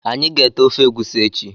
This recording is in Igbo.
Anyị ga- ete ofe egwusi echi